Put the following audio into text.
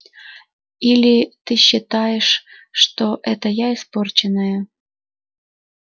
или ты считаешь что это я испорченная